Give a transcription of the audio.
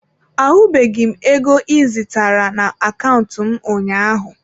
Ahụbeghị m ego ị zitara na akaụntụ m ụnyaahụ.